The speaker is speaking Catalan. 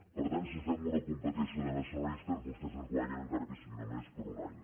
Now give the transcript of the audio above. per tant si fem una competició de nacionalistes vostès ens guanyen encara que sigui només per un any